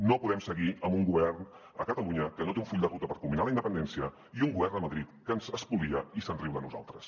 no podem seguir amb un govern a catalunya que no té un full de ruta per culminar la independència i un govern a madrid que ens espolia i se’n riu de nosaltres